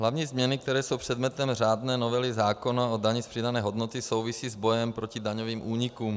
Hlavní změny, které jsou předmětem řádné novely zákona o dani z přidané hodnoty, souvisí s bojem proti daňovým únikům.